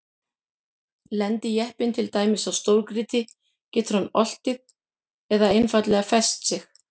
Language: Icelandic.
Lendi jeppinn til dæmis á stórgrýti getur hann oltið eða einfaldlega fest sig.